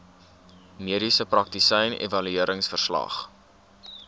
mediese praktisyn evalueringsverslag